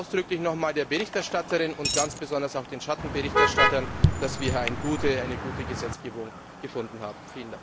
Ich danke ausdrücklich nochmals der Berichterstatterin und ganz besonders auch den Schattenberichterstattern, dass wir eine gute Gesetzgebung gefunden haben!